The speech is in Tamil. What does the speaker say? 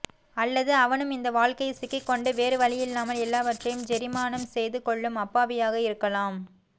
அல்லது அவனும் இந்த வாழ்க்கையில் சிக்கிக்கொண்டு வேறுவழியில்லாமல் எல்லாவற்றையும் ஜெரிமானம் செய்துகொள்ளும் அப்பாவியாக இருக்கலாம்